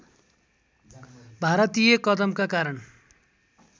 भारतीय कदमका कारण